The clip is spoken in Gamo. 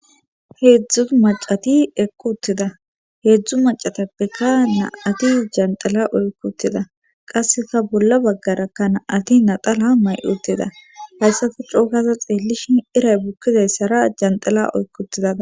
Heedzdzu macati ekku uttida heedzdzu macatappekka na'ati janxila oykkutida qasseka bolla baggarakka na'ati naxala may'uttida hayssati cookaza xeellishin iray bukkidayssara janxila oykkutida.